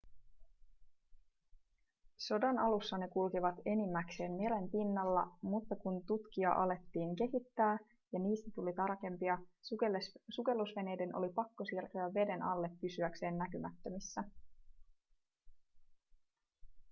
sodan alussa ne kulkivat enimmäkseen meren pinnalla mutta kun tutkia alettiin kehittää ja niistä tuli tarkempia sukellusveneiden oli pakko siirtyä veden alle pysyäkseen näkymättömissä